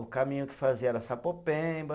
O caminho que fazia era Sapopemba.